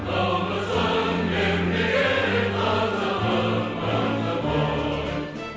намысын бермеген қазағым мықты ғой